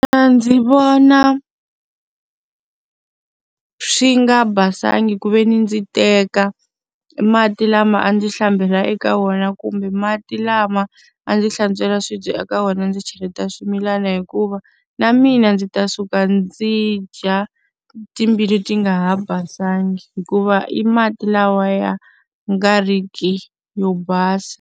A ndzi vona swi nga basanga ku ve ni ndzi teka mati lama a ndzi hlambela eka wona kumbe mati lama a ndzi hlantswela swibye eka wena ndzi cheleta swimilana hikuva, na mina ndzi ta suka ndzi dya timbilu ti nga ha basanga hikuva i mati lawa ya nga ri ki yo basa.